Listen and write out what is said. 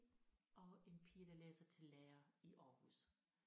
Og en pige der læser til lærer i Aarhus